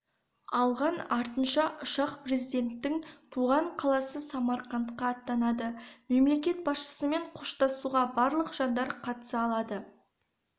алған артынша ұшақ президенттің туған қаласы самарқандқа аттанады мемлекет басшысымен қоштасуға барлық жандар қатыса алады